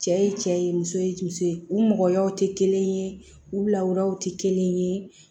Cɛ ye cɛ ye muso ye musoyaw tɛ kelen ye u lawuraw tɛ kelen ye